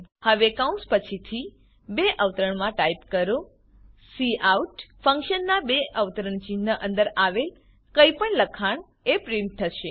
હવે કૌંસ પછીથી બે અવતરણમાં ટાઈપ કરો કાઉટ ફંક્શનમાં બે અવતરણની અંદર આવેલ કંઈપણ લખાણ એ પ્રીંટ થશે